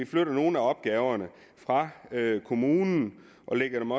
flytter nogle af opgaverne fra kommunen og lægger dem